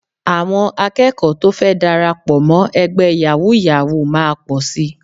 Àwọn akẹ́kọ̀ọ́ tó fẹ́ darapọ̀ mọ́ ẹgbẹ́ yàwúú-yawuù máa pọ̀ sí